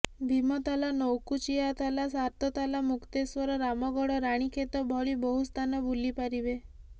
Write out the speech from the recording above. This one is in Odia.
ଭୀମତାଲ ନୌକୁଚିଆତାଲ ସାତତାଲ ମୁକ୍ତେଶ୍ୱର ରାମଗଡ଼ ରାଣୀଖେତ ଭଳି ବହୁ ସ୍ଥାନ ବୁଲିପାରିବେ